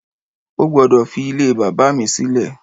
O gbọdọ fi ílé bàbá mi silẹ!